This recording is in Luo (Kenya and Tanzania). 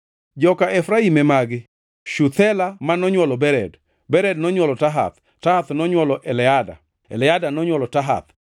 Joka Efraim e magi: Shuthela ma nonywolo Bered, Bered nonywolo Tahath, Tahath nonywolo Eleada, Eleada nonywolo Tahath,